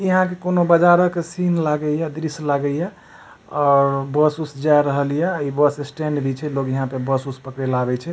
यहाँ के कोनो बाजार के सीन लगे हिए दृश्य लागे हिए और बस उस जा रहल हिए इ बस स्टैंड भी छै लोग इहाँ पर बस पकड़ेला आवे छै।